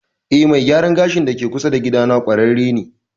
Eh mai gyaran gashin da ke kusa da gida na ƙwararre ne